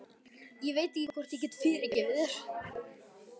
Ég veit ekki hvort ég get fyrirgefið þér.